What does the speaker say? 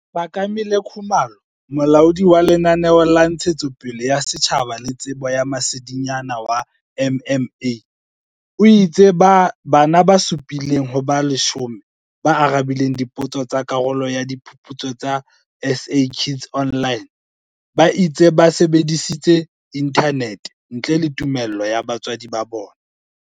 Phakamile Khumalo, Molaodi wa Lenaneo la Ntshetsopele ya Setjhaba le Tsebo ya Masedinyana wa MMA, o itse bana ba supi leng ho ba 10 ba arabileng dipotso tsa karolo ya Diphuputso tsa SA Kids Online ba itse ba sebedisitse inthanete ntle le tumello ya batswadi ba bona.